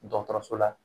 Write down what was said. Dɔgɔtɔrɔso la